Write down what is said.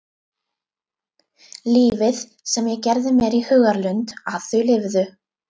Lífið sem ég gerði mér í hugarlund að þau lifðu.